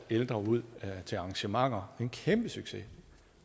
ældre ud til arrangementer det en kæmpesucces